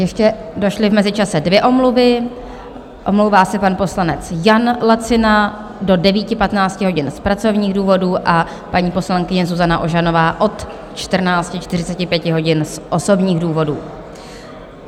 Ještě došly v mezičase dvě omluvy: omlouvá se pan poslanec Jan Lacina do 9.15 hodin z pracovních důvodů a paní poslankyně Zuzana Ožanová od 14.45 hodin z osobních důvodů.